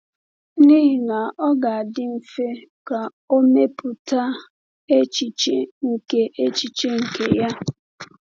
N’ihi na ọ ga-adị mfe ka o mepụta echiche nke echiche nke ya.